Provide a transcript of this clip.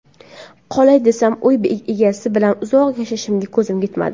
Qolay desam, uy egasi bilan uzoq yashashimga ko‘zim yetmadi.